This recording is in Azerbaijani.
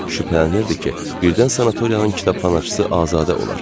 Şübhələnirdi ki, birdən sanatoriyanın kitabxanaçısı Azadə olar.